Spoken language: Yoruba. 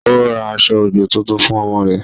Ó ra aṣọ-òjò tuntun fún ọmọ rẹ̀